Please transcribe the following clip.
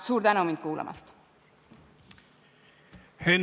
Suur tänu mind kuulamast!